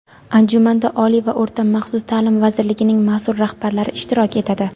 Anjumanda Oliy va o‘rta maxsus ta’lim vazirligining masʼul rahbarlari ishtirok etadi.